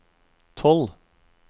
tolv